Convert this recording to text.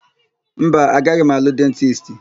Mba, agaghị m alụ dentisti.